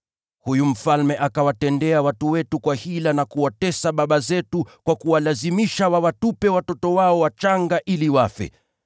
Huyu mfalme akawatendea watu wetu hila na kuwatesa baba zetu kwa kuwalazimisha wawatupe watoto wao wachanga ili wafe.